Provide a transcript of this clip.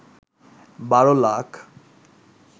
১২ lakh